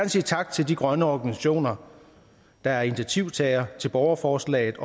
sige tak til de grønne organisationer der er initiativtagere til borgerforslaget